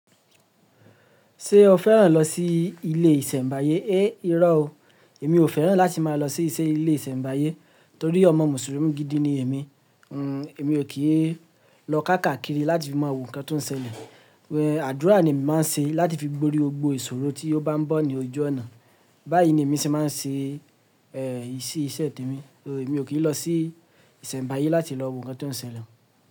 Ṣé o fẹ́ràn lọ sí ilé ìsẹ̀mbáyé? Irọ́ o, èmi ò fẹ́ràn láti máa lọ sí ilé ìsẹ̀mbáyé torí ọmọ Mùsùlùmí gidi ni èmi. Èmi ò kíì lọ káàkiri láti fi máa wo nǹkan tó ń ṣẹlẹ̀. Àdúrà ni emi màá ń ṣe láti fi borí gbogbo ìṣòro tí ó bá ń bọ̀ ní ojú ọ̀nà. Báyìí ni èmi ṣé màá ń ṣe iṣẹ́ temi, so, èmi ò kíì lọ sí ìsẹ̀mbáyé láti lọ wo nǹkan tó ń ṣẹlẹ̀.